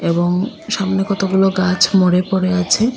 এবং সামনে কতগুলো গাছ মরে পড়ে আছে।